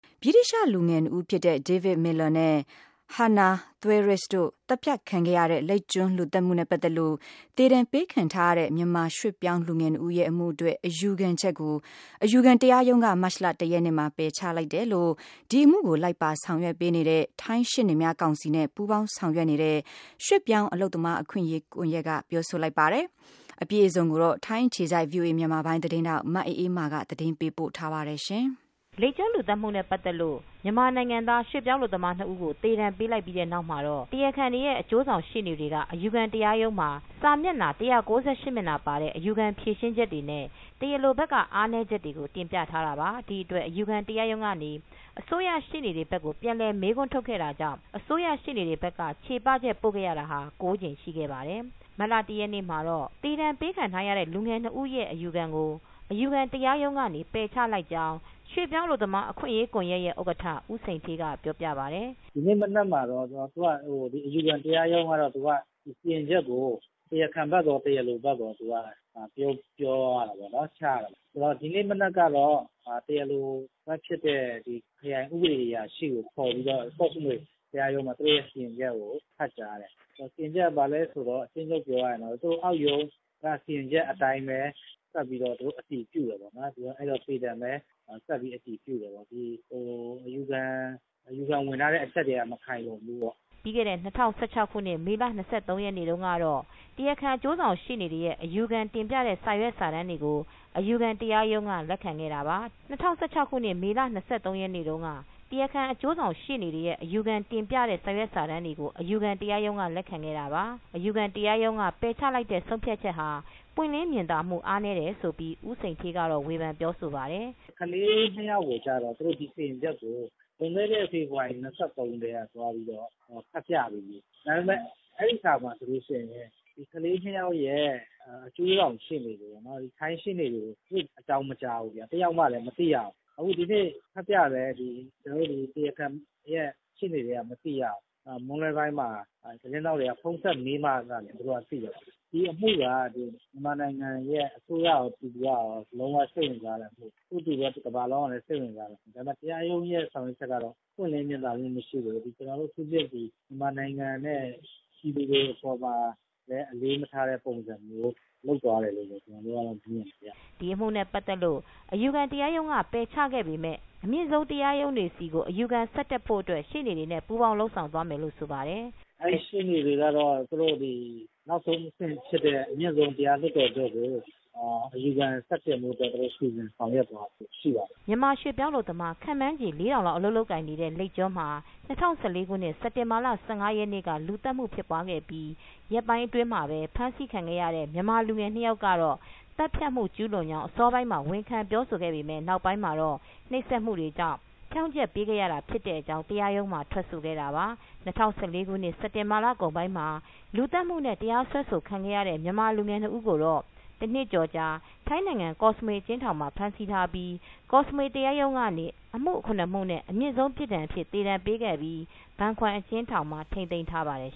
ဗြိတိသျှ လူငယ်၂ဦးဖြစ်တဲ့ David Miller နဲ့ Hannah Witheridge တို့ သတ်ဖြတ်ခံခဲ့ရတဲ့ လိပ်ကျွန်းလူသတ်မှုနဲ့ ပတ်သက်လို့ သေဒဏ်ပေးခြင်း ခံထားရတဲ့ မြန်မာရွှေ့ပြောင်း လူငယ်၂ဦးရဲ့ အမှု အတွက် အယူခံချက် အယူခံတရားရုံးကမတ်လ ၁ရက်နေ့ မှာ ပယ်ချလိုက်ကြောင်း ဒီအမှုကို လိုက်ပါဆောင်ရွက်ပေးနေတဲ့ ထိုင်းရှေ့နေများကောင်စီနဲ့ အလုပ်အတူလုပ်ဆောင်နေတဲ့ ရွှေ့ပြောင်းအလုပ်သမား အခွင့်ရေး ကွန်ယက်က ပြောဆိုလိုက်ပါတယ်။ မအေးအေးမာက သတင်းပေးပို့ ထားပါတယ်။ လိပ်ကျွန်းလူသတ်မှုနဲ့ ပတ်သက်လို့ မြန်မာနိုင်ငံသား ရွှေ့ပြောင်းအလုပ်သမား ၂ဦး ကိုသေဒဏ်ပေးလိုက်ပြီးတဲ့ နောက်မှာတော့ တရားခံတွေရဲ့ အကျိုးဆောင်ရှေ့နေတွေက အယူခံ တရားရုံးမှာ စာမျက်နှာ ၁၉၈ မျက်နှာပါတဲ့ အယူခံဖြေရှင်းချက်တွေနဲ့ တရားလိုဘက်က အားနည်းချက်တွေကို တင်ပြထားတာပါ။ ဒီအတွက် အယူခံ တရားရုံးကနေ အစိုးရရှေ့နေတွေဘက်ကို ပြန်လည်မေးခွန်းထုတ်ခဲ့တာကြောင့် အစိုးရရှေ့နေတွေ ဘက်က ချေပချက် တွေပို့ခဲ့တာဟာ ၉ကြိမ်ရှိခဲ့တာပါ။ မတ်လ ၁ ရက်နေ့ မှာတော့ သေးဒဏ်ပေးခံထားရတဲ့ လူငယ် ၂ဦးအတွက် အယူခံကို အယူခံတရားရုံးကနေပယ်ချလိုက်တယ်လို့ ရွေးပြောင်းအလုပ်သမားအခွင့်ရေးကွန်ယက်ဥက္ကဋ္ဌ ဦးစိန်ဌေး ကပြောပါတယ်။ “ဒီနေ့မနက်မှာတော့ အယူခံတရားရုံးကနေ စီရင်ချက်ကို တရားခံဘက်ရော ၊တရားလိုဘက်ရော ပြောသွားတာပေါ့နော်။ ဒီနေ့မနက်က တရားလိုဘက်ဖြစ်တဲ့ ခရိုင်ဥပဒေအရာရှိ ကိုခေါ်ပြီးတော့ ကော့်စမွေတရားရုံးမှာ သူတို့စီရင်ချက်ကို ဖတ်ကြားတယ်။ စီရင်ချက်ကတော့ ဘာလဲဆိုတော့ အကျဉ်းချုပ်ပြောရရင်တော့ အစိုးရ ရုံးက စီရင်ချက် အတိုင်းပဲ ဆက်ပြီးတော့ အတည်ပြုတယ်ပေါ့နော် ၊ အဲဒီတော့ သေဒဏ်ပဲဆက်ပြီးတော့ အတည်ပြုတယ်ပေါ့နော်။ အယူခံဝင်ထားတဲ့ အချက်တွေ က မခိုင်လုံဘူးပေါ့။” ပြီးခဲ့တဲ့ ၂၀၁၆ မေလ ၂၃ ရက်နေ့တုန်းက တရာခံ အကျိုးဆောင်ရှေ့နေတွေရဲ့ အယူခံ တင်ပြတဲ့ စာရွက်စာတမ်းတွေကို အယူခံတရားရုံးက လက်ခံခဲ့တာပါ။ အယူခံတရားရုံးက ပယ်ချလိုက်တဲ့ ဆုံးဖြတ်ချက်ဟာ ပွင်းလင်းမြင်သာမူအားနည်းတယ်လို့ ဦးစိန်ဌေး ကဝေဖန်ပြောဆိုပါတယ်။ “ကလေး ၂ ယောက်ကိုတော့ ဒီစီရင်ချက်ကို လွန်ခဲ့တဲ့ ဖေဖော်ဝါရီ ၂၃ ကတည်းက ဖတ်ပြပြီးပြီ၊ ဒါပေမယ့် အဲဒီစာမှာ ကလေး၂ယောက်ရဲ့ အကျိုးဆောင်ရှေ့နေတွေပေါ့နော် ၊ ထိုင်းရှေ့နေတွေကို အကြောင်းမကြားဘူးခင်ဗျ ။ တယောက်မှလည်း မသိရဘူး အခုဒီနေ့ ဖတ်ပြတာလည်း ဒီတရားခံတွေရဲ့ရှေ့နေတွေက မသိရဘူး၊ မွန်းလွဲပိုင်းမှာ သတင်းထောက်တွေ က ဖုန်းဆက်မေးမှသာလျှင် သူက သိတာ ။ ဒီအမှုက မြန်မာနိုင်ငံ အစိုးရကော၊ ပြည်သူတွေကရော လုံးဝစိတ်ဝင်စားတဲ့အမှု ၊ အဲဒီလိုပဲ တကမ္ဘာလုံး ကလည်း လုံးဝစိတ်ဝင်စားတဲ့အမှု ။ ဒါပေမယ့် တရားရုံးရဲ့ဆောင်ရွက်ချက်ကတော့ ပွင့်လင်းမြင်သာမှုမရှိဘူး အထူးသဖြင့် မြန်မာနိုင်ငံနဲ့ ပြည်သူတွေအပေါ်မှာ အလေးမထားတဲ့ပုံစံမျိုးဖြစ်သွားတယ်လို့ ကျနော်တို့ကတော့ အဲဒီလိုမြင်တယ်ခင်ဗျ။” ဒီအမှုနဲ့ ပတ်သက်လို့အယူခံတရားရုံးက ပယ်ချခဲ့ပေမယ့် အမြင့်ဆုံးတရားရုံးတွေကို ဆက်ပြီး အယူခံဆက်တက်သွားဖို့ အတွက်ရှေ့နေတွေနဲ့ ပူးပေါင်းလုပ်ဆောင် သွားမယ်လို့ ဆိုပါတယ်။ “ရှေ့နေတွေကတော့ နောက်ဆုံးအဆင့်ဖြစ်တဲ့ အမြင့်ဆုံးတရားလွှတ်တော်ချုပ်ကို အယူခံ ဆက်တင်ဖို့အတွက် သူတို့ စီစဉ်ဆောင်ရွက် သွားဖို့အတွက် ရှိပါတယ်။” မြန်မာရွှေ့ပြောင်းအလုပ်သမား ခန့်မှန်းချေ ၄,၀၀၀ လောက် အလုပ်လုပ်ကိုင်နေတဲ့ လိပ်ကျွန်းမှာ ၂၀၁၄ ခုနှစ် စက်တင်ဘာ ၁၅ ရက်နေ့က လူသတ်မှုဖြစ်ပွားပြီး ရက်ပိုင်းအတွင်းမှာပဲ ဖမ်းဆီးခံခဲ့ရတဲ့ မြန်မာလူငယ် ၂ ယောက်ကတော့ သတ်ဖြတ်မှု ကျုးလွန်ကြောင်း အစောပိုင်းမှာတော့ ဝန်ခံပြောဆို ခဲ့ပေမဲ့ နောက်ပိုင်းမှာတော့ နှိပ်စက် မှုတွေကြောင့် ဖြောင့်ချက်ပေးခဲ့တာ ဖြစ်တဲ့အကြောင်း တရားရုံးမှာ ထွက်ဆို ခဲ့တာပါ။ ၂၀၁၄ ခုနှစ် စက်တင်ဘာလကုန်ပိုင်းမှာ လူသတ်မှုနဲ့ တရားစွဲဆိုခံခဲ့ရတဲ့ မြန်မာလူငယ် ၂ ဦးကိုတော့ တနှစ်ကျော်ကြာ ထိုင်းနိုင်ငံကော့စမွေ အကျဉ်းထောင်မှာ ဖမ်းဆီး ထားပြီး ကော့စမွေတရားရုံးကနေ အမှု ၇မှုနဲ့ အမြင့်ဆုံးပြစ်ဒဏ်အဖြစ် သေဒဏ်ပေးခဲ့ပြီး ဘန်ခွမ်အကျဉ်းထောင်မှာ ထိန်းသိမ်းထားပါတယ်